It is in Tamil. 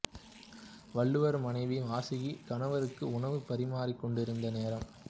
வள்ளுவர் மனைவி வாசுகியார் கணவருக்கு உணவு பரிமாறிக் கொண்டிருந்த நேரம்